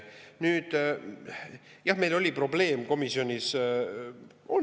Nüüd jah, meil oli probleem komisjonis.